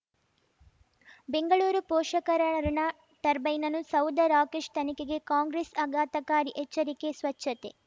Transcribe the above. ಬೆಂಗಳೂರು ಪೋಷಕರಋಣ ಟರ್ಬೈನನು ಸೌಧ ರಾಕೇಶ್ ತನಿಖೆಗೆ ಕಾಂಗ್ರೆಸ್ ಆಘಾತಕಾರಿ ಎಚ್ಚರಿಕೆ ಸ್ವಚ್ಛತೆ